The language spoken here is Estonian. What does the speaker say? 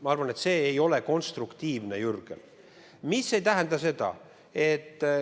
Ma arvan, et see ei ole konstruktiivne, Jürgen.